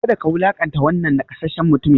Kada ka wulaƙanta wannan nakasasshen mutumin!